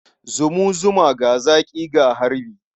Zumu zuma, ga zaƙi, ga harbi.